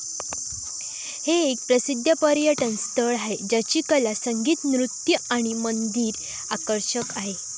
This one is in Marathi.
हे एक प्रसिद्ध पर्यटन स्थळ आहे ज्याची कला, संगीत, नृत्य आणि मंदिर आकर्षक आहेत.